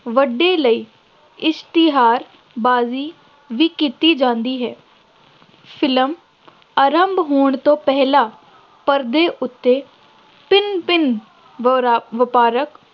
ਵੱਡੇ ਲਈ ਇਸ਼ਤਿਹਾਰਬਾਜ਼ੀ ਵੀ ਕੀਤੀ ਜਾਂਦੀ ਹੈ, ਫਿਲਮ ਆਰੰਭ ਹੋਣ ਤੋਂ ਪਹਿਲਾਂ ਪਰਦੇ ਉੱਤੇ ਭਿੰਨ ਭਿੰਨ